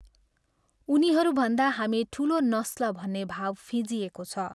उनीहरूभन्दा हामी ठुलो नस्ल भन्ने भाव फिँजिएको छ।